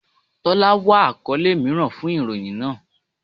Tọ́lá wá àkọ́lé mìíràn fun ìròyìn náà.